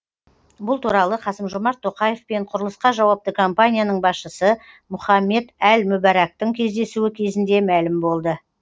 бұл туралы қасым жомарт тоқаев пен құрылысқа жауапты компанияның басшысы мұхаммед әл мүбәрактың кездесуі кезінде мәлім болды